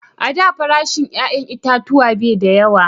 A da farashin 'ya'yan itatuwa bai da yawa